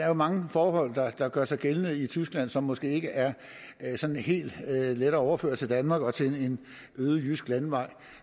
jo mange forhold der gør sig gældende i tyskland som måske ikke er helt lette at overføre til danmark og til en øde jysk landevej